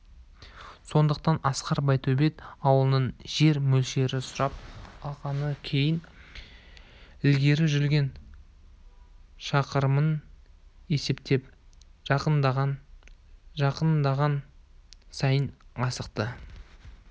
сондықтан асқар байтөбет ауылының жер мөлшерін сұрап алғаннан кейін ілгері жүрген шақырымын есептеп жақындаған жақындаған сайын асықты